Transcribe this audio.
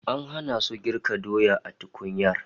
An hana su girka doya a tukunyar